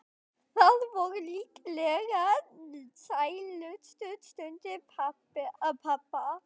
Það voru líklega sælustu stundir pabba.